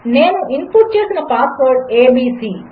నేనుఇన్పుట్చేసినపాస్వర్డ్ ABC